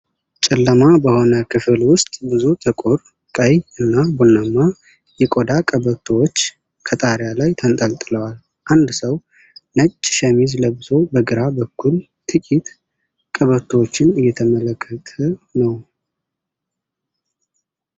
ጨለማ በሆነ ክፍል ውስጥ ብዙ ጥቁር፣ ቀይ እና ቡናማ የቆዳ ቀበቶዎች ከጣሪያ ላይ ተንጠልጥለዋል። አንድ ሰው ነጭ ሸሚዝ ለብሶ በግራ በኩል ጥቂት ቀበቶዎችን እየተመልከት ነው።